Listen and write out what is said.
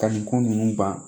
Ka nin ko ninnu ban